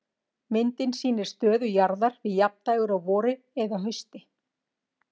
Myndin sýnir stöðu jarðar við jafndægur á vori eða hausti.